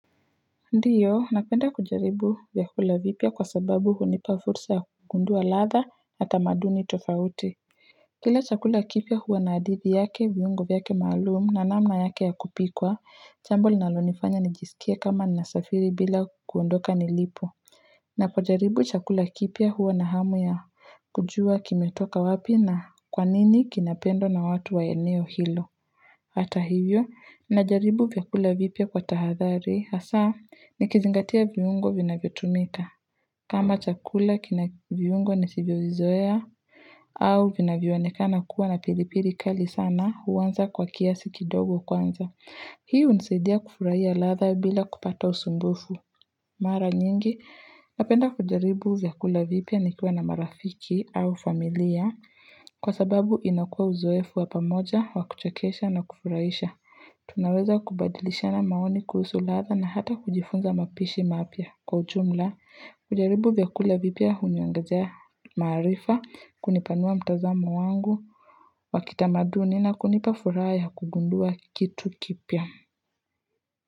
Ndio napenda kujaribu vyakula vipya kwa sababu hunipa fursa ya kugundua ladha yatamudini tofauti Kila chakula kipya huwa na hadithi yake viungo vyake maalum na namna yake ya kupikwa jambo linalonifanya nijisikie kama nasafiri bila kuondoka nilipo na kujaribu chakula kipya huwa na hamu ya kujua kimetoka wapi na kwanini kinapendwa na watu wa eneo hilo Hata hivyo, najaribu vyakula vipya kwa tahadhari, hasa, nikizingatia viungo vinavyotumika. Kama chakula kina viungo nisivyovizoea, au vinavyoonekana kuwa na pilipili kali sana, huwanza kwa kiasi kidogo kwanza. Hii hunisadia kufurahia ladha bila kupata usumbufu. Mara nyingi, napenda kujaribu vyakula vipya nikiwa na marafiki au familia Kwasababu inakua uzoefu wapamoja, wakuchakesha na kufurahisha Tunaweza kubadilishana maoni kuhusu ladha na hata kujifunza mapishi mapya Kwa ujumla, kujaribu vyakula vipya huniongezea maarifa kunipanua mtazamo wangu wa kitamaduni na kunipa furaha ya kugundua kitu kipya.